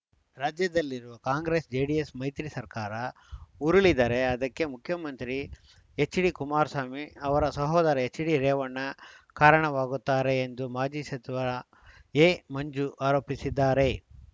ರಾಜ್ಯದಲ್ಲಿರುವ ಕಾಂಗ್ರೆಸ್‌ ಜೆಡಿಎಸ್‌ ಮೈತ್ರಿ ಸರ್ಕಾರ ಉರುಳಿದರೆ ಅದಕ್ಕೆ ಮುಖ್ಯಮಂತ್ರಿ ಎಚ್‌ಡಿಕುಮಾರಸ್ವಾಮಿ ಅವರ ಸಹೋದರ ಎಚ್‌ಡಿರೇವಣ್ಣ ಕಾರಣವಾಗುತ್ತಾರೆ ಎಂದು ಮಾಜಿ ಸಚಿವ ಎಮಂಜು ಆರೋಪಿಸಿದ್ದಾರೆ